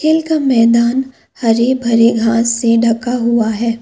खेल का मैदान हरे भरे घास से ढका हुआ है।